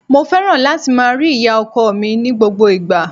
Mo fẹ́ràn láti máa rí ìyá-ọkọ mi ní gbogbo ìgbà.